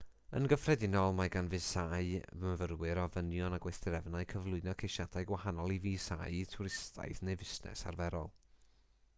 yn gyffredinol mae gan fisâu myfyrwyr ofynion a gweithdrefnau cyflwyno ceisiadau gwahanol i fisâu twristaidd neu fusnes arferol